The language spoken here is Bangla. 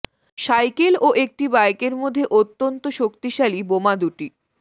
সাইকেল ও একটি বাইকের মধ্যে অত্যন্ত শক্তিশালী বোমা দুটি